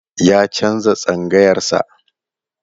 Ya canza tsangayar sa.